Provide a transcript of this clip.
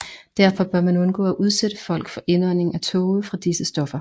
Derfor bør man undgå at udsætte folk for indånding af tåge fra disse stoffer